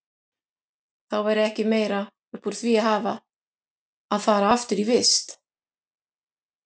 Væri þá ekki meira upp úr því að hafa að fara aftur í vist?